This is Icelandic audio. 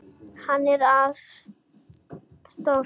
Hann er ansi stór.